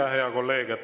Aitäh, hea kolleeg!